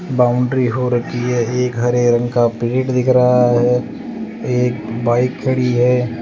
Boundary हो रखी है एक हरे रंग का पेड़ दिख रहा है एक बाइक खड़ी है।